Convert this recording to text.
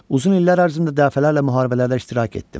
Uzun illər ərzində dəfələrlə müharibələrdə iştirak etdim.